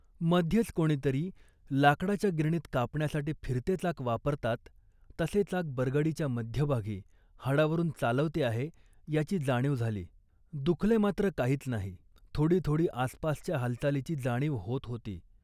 मध्येच कोणीतरी लाकडाच्या गिरणीत कापण्यासाठी फिरते चाक वापरतात तसे चाक बरगडीच्या मध्यभागी हाडावरून चालवते आहे याची जाणीव झाली, दुखले मात्र काहीच नाही. थोडी थोडी आसपासच्या हालचालीची जाणीव होत होती